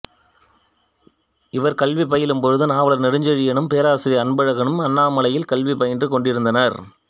இவர் கல்வி பயிலும்போது நாவலர் நெடுஞ்செழியனும் பேராசிரியர் அன்பழகனும் அண்ணாமலையில் கல்வி பயின்று கொண்டிருந்தனர்